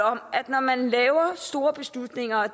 om at når man laver store beslutninger og